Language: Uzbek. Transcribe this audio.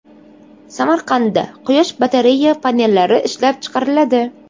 Samarqandda quyosh batareya panellari ishlab chiqariladi.